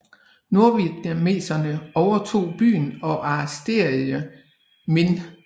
Nordvietnameserne overtog byen og arresterede Minh